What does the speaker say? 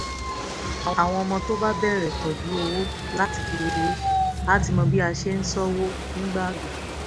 àwọn ọmọ tó bá bẹ̀rẹ̀ tọ́jú owó láti kékeré á ti mọ bí a ṣe ń ṣọ́wó nígbà àgbà